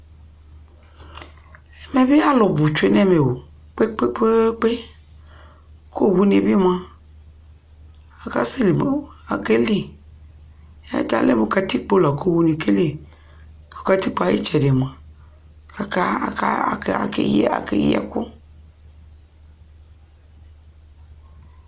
ɛmɛ bi alʋ bʋ twɛnʋ ɛmɛɔ kpekpekpe kʋ ɔwʋni bi ma ,akɛli atɛ alɛ mʋ katikpɔ ɔwʋɛ kɛli kʋ katikpɔɛ ayi ɛtsɛdɛ mʋa akayi ɛkʋ